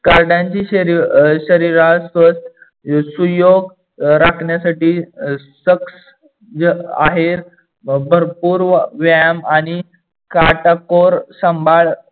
कार्डानची शरीरास स्वस्थ सुयोग राखण्यासाठी आहे. भरपूर व्यायाम आणि काटाकोर सांभाड